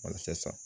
Walasa